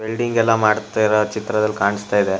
Welding ಎಲ್ಲ ಮಾಡ್ತಾ ಇರೋ ಚಿತ್ರದಲ್ಲಿ ಕಾಣಿಸ್ತಾ ಇದೆ.